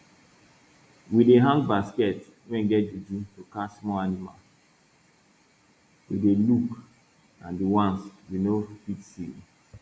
we dey hang basket wey get juju to catch small animals we dey look and the ones we no fit see